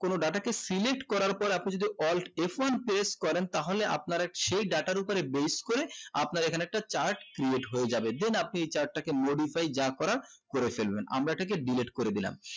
কোনো data কে select করার পর আপনি যদি alt f one press করেন তাহলে আপনারা এক সেই data র উপরে base করে আপনারা এখানে একটা chart creat হয়ে যাবে then আপনি এই creat টাকে modify যা করার করে ফেলবেন আমিরা এই তাকে delete করে দিলাম